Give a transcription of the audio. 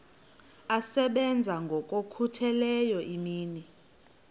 asebenza ngokokhutheleyo imini